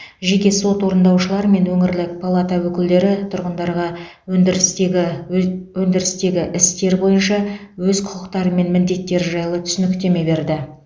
жеке сот орындаушылар мен өңірлік палата өкілдері тұрғындарға ндірістегі өз өндірістегі істер бойынша өз құқықтары мен міндеттері жайлы түсініктеме берді